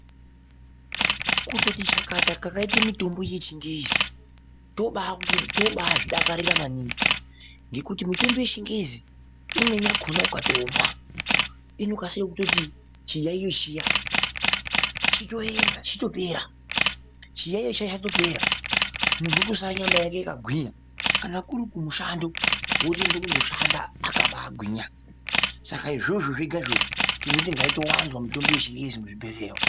Kutoti chakata kwakaite mitombo yechingezi tobaazvidakarira maningi ngekuti mitombo yechingezi imweni yakona ukatomwa inokasire kutoti chiyayiyo chiya chitoenda chitopera chiyayiyo chiya chatotopera ,munhu otosara nyama yake yakagwinya kana kurikumushando wotoenda kunoshanda akabaagwinya saka izvozvo zvega tinoti ngaitowanzwa mitombo yechingezi muzvibhehleya umwu.